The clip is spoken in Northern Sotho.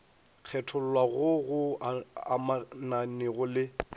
kgethollwa goo go amanego le